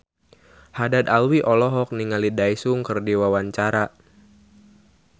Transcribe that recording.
Haddad Alwi olohok ningali Daesung keur diwawancara